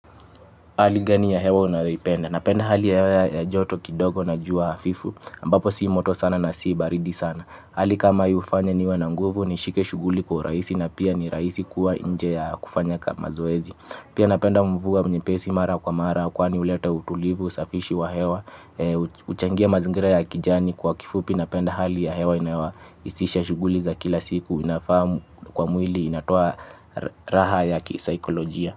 Hali gani ya hewa unayoipenda? Napenda hali ya hewa ya joto kidogo na jua hafifu, ambapo si moto sana na si baridi sana. Hali kama hii hufanya niwe nanguvu ni shike shughuli kwa uraihisi na pia ni rahisi kuwa inje ya kufanya kama zoezi. Pia napenda mvua nyepesi mara kwa mara, kwani uleta utulivu usafishi wa hewa, huchangia mazingira ya kijani. Kwa kifupi napenda hali ya hewa inaewa isisha shughuli za kila siku inafahamu kwa mwili inatoa raha ya kisaikolojia.